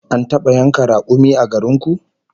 An taba yanka rakumi a garin ku?